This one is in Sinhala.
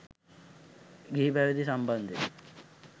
ගිහි පැවිදි සම්බන්ධය